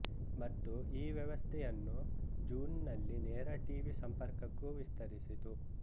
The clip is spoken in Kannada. ಮತ್ತು ಈ ವ್ಯವಸ್ಥೆಯನ್ನು ಜೂನ್್ನಲ್ಲಿ ನೇರ ಟೀವಿ ಸಂಪರ್ಕಕ್ಕೂ ವಿಸ್ತರಿಸಿತು